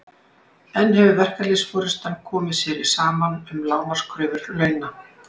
En hefur verkalýðsforystan komið sér saman um lágmarkskröfur launa?